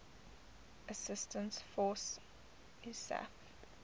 assistance force isaf